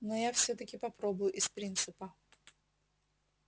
но я всё-таки попробую из принципа